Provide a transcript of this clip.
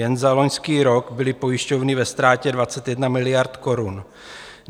Jen za loňský rok byly pojišťovny ve ztrátě 21 miliard korun.